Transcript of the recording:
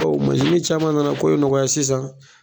Bawo caman nana ko in nɔgɔya sisan